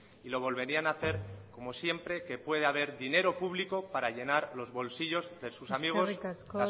y lo volverían a hacer como siempre que pueda haber dinero público para llenar los bolsillos de sus amigos eskerrik asko